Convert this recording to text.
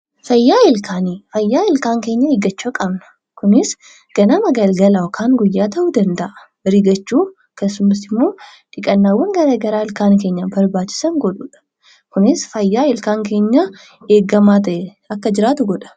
Fayyaa ilkaanii: Fayyaa ilkaan keenyaa eeggachuu qabna. Kunis ganama galgala yookaan guyyaa ta'uu danda'a. Rigachuu, akkasumas immoo dhiqannaawwan garaa garaa ilkaan keenyaaf barbaachisan godhuudha. Kunis fayyaa ilkaan keenyaa eegamee ta'ee akka jiraatu godha.